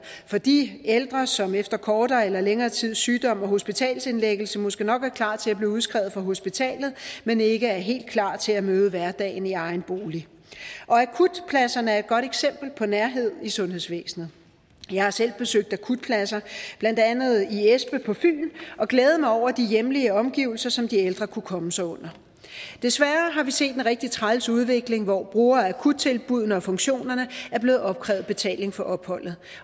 for de ældre som efter kortere eller længere tids sygdom og hospitalsindlæggelse måske nok er klar til at blive udskrevet fra hospitalet men ikke er helt klar til at møde hverdagen i egen bolig og akutpladserne er et godt eksempel på nærhed i sundhedsvæsenet jeg har selv besøgt akutpladser blandt andet i espe på fyn og glædet mig over de hjemlige omgivelser som de ældre kunne komme sig under desværre har vi set en rigtig træls udvikling hvor brugere af akuttilbuddene og funktionerne er blevet opkrævet betaling for opholdet